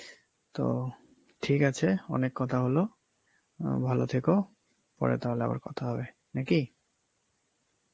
তো ঠিক আছে অনেক কথা হলো, আঁ ভালো থেকো, পরে তাহলে আবার কথা হবে, নাকি?